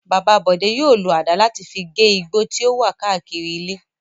Bàbá Bọ̀dé yóò lo àdá láti fi gé igbó tí ó wà káàkiri ilé.